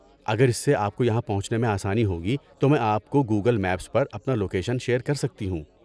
اگر اس سے آپ کو یہاں پہنچنے میں آسانی ہوگی تو میں آپ کو گوگل میپس پر اپنا لوکیشن شیئر کر سکتی ہوں۔